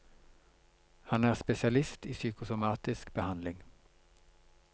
Han er spesialist i psykosomatisk behandling.